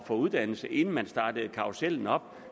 få uddannelse inden man startede karrusellen op